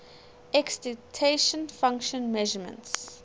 excitation function measurements